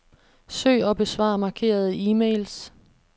Søg og besvar markerede e-mails.